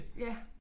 Ja